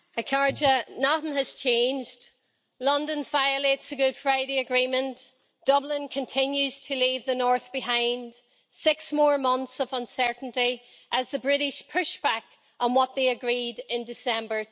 Madam President, nothing has changed London violates the Good Friday Agreement, Dublin continues to leave the North behind, six more months of uncertainty as the British push back on what they agreed in December